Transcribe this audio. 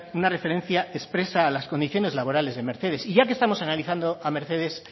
una referencia expresa a las condiciones laborales de mercedes y ya que estamos analizando a mercedes